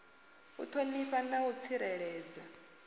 u ṱhonifha na u tsireledza